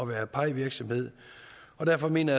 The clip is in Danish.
være pie virksomhed og derfor mener